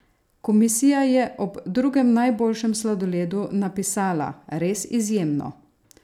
Komisija je ob drugem najboljšem sladoledu napisala: "Res izjemno!